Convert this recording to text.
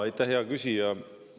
Aitäh, hea küsija!